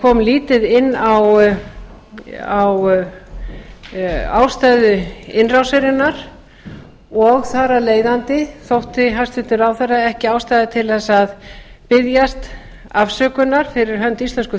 kom lítið inn á ástæður innrásarinnar og þar af leiðandi þótti hæstvirtur ráðherra ekki ástæða til að biðjast afsökunar fyrir hönd íslensku